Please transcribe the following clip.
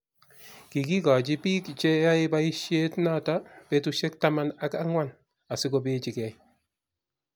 Kikikoch bik che yoei boisiet noto petushek taman ak angwan asikopechikei